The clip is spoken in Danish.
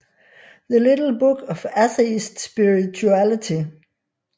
The little book of Atheist spirituality